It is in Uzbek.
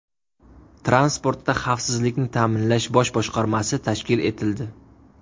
Transportda xavfsizlikni ta’minlash bosh boshqarmasi tashkil etildi.